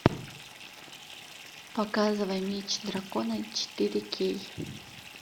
показывай меч дракона четыре кей